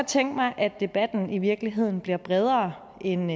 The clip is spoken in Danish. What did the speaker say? tænke mig at debatten i virkeligheden bliver bredere end